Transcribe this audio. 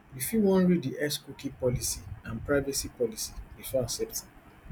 you fit wan read di xcookie policyandprivacy policybefore accepting